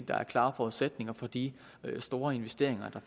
der er klare forudsætninger for de store investeringer der